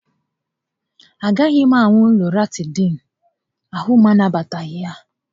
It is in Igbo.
A gaghị m aṅụ Lọratịdịịnụ, ahụ m anabataghị ya